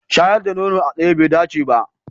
Shayar da nono a tsaye bai dace ba.